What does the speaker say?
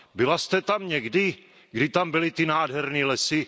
Byla jste tam někdy, když tam byly ty nádherné lesy?